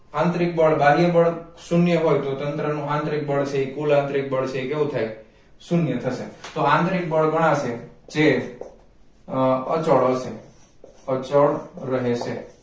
આંતરિક બળ બાહ્ય બળ શૂન્ય હોય તો તંત્ર નું આંતરિક બળ છે એ કુલ આંતરિક બળ છે એ કેવું થાય શૂન્ય થશે તો આંતરિક બળ ગણાશે જે અચળ હશે અચળ રહે છે